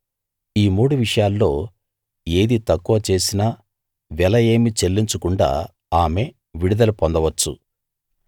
ఈ మూడు విషయాల్లో ఏది తక్కువ చేసినా వెల ఏమీ చెల్లించకుండా ఆమె విడుదల పొందవచ్చు